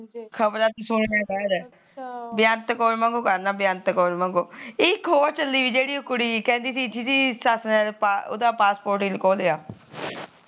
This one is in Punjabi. ਬਿਆਂਤ ਕੌਰ ਵਾਂਗੂ ਬਣਨਾ ਬਿਆਂਤ ਕੌਰ ਵਾਂਗੂ ਇਹ ਇੱਕ ਹੋਰ ਚਲੀ ਜਿਹੜੀ ਕਹਿੰਦੀ ਜਿਹਦੀ ਸੱਸ ਨੇ ਉਹਦਾ passport ਖੋਹ ਲਿਆ